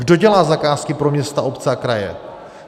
Kdo dělá zakázky pro města, obce a kraje?